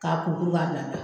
K'a kuru kuru ka bila